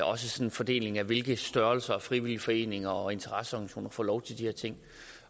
også fordelingen af hvilken størrelse frivillige foreninger og interesseorganisationer der får lov til de her ting